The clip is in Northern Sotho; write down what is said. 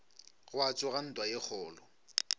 gwa tsoga ntwa ye kgolo